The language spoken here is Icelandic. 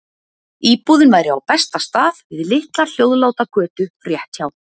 Íbúðin væri á besta stað, við litla hljóðláta götu rétt hjá